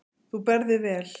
Þú berð þig vel.